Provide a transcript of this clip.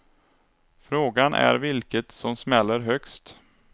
Frågan är vilket som smäller högst.